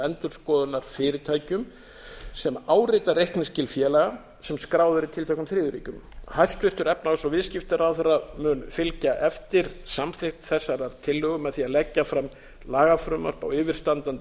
endurskoðunarfyrirtækjum sem árita reikningsskil félaga sem skráð eru í tilteknum þriðju ríkjum hæstvirtur efnahags og viðskiptaráðherra mun fylgja eftir samþykkt þessarar tillögu með því að leggja fram lagafrumvarp á yfirstandandi